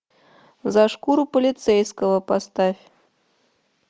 за шкуру полицейского поставь